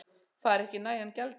Fær ekki nægan gjaldeyri